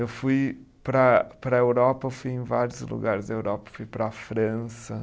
Eu fui para para a Europa, fui em vários lugares da Europa, fui para a França.